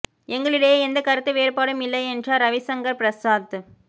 எங்களிடையே எந்தக் கருத்து வேறுபாடும் இல்லை என்றார் ரவிசங்கர் பிரசாத்